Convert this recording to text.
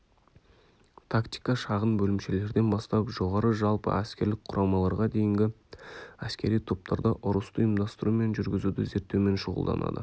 тактика шағын бөлімшелерден бастап жоғары жалпы әскерлік құрамаларға дейінгі әскери топтарда ұрысты ұйымдастыру мен жүргізуді зерттеумен шұғылданады